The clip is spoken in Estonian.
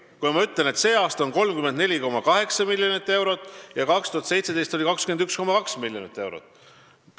Ma ütlesin väga selgelt, et sellel aastal on 34,8 miljonit eurot ja 2017. aastal oli 21,2 miljonit eurot.